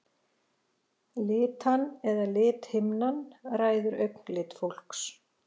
Litan eða lithimnan ræður augnlit fólks.